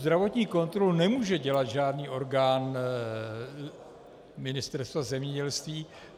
Zdravotní kontrolu nemůže dělat žádný orgán Ministerstva zemědělství.